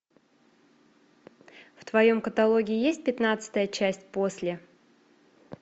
в твоем каталоге есть пятнадцатая часть после